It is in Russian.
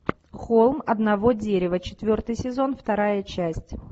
холм одного дерева четвертый сезон вторая часть